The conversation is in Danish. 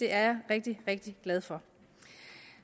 er rigtig rigtig glad for